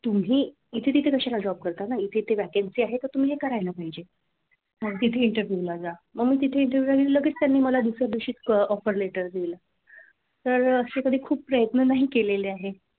तुम्ही इथे तिथे कशाला job करता ना इथे इथे vacancy आहे तर तुम्ही हे करायला पाहिजे मग तिथे interview ला जा मग तिथे interview ला गेली लगेच त्यांनी दुसऱ्या दिवशी मला offer letter दिले तर असे कधी खूप प्रयत्न नाही केलेले आहे.